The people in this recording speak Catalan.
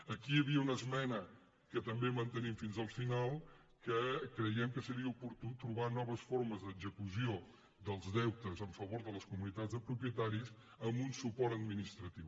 aquí hi havia una esmena que també mantenim fins al final que creiem que seria oportú trobar noves formes d’execució dels deutes en favor de les comunitats de propietaris amb un suport administratiu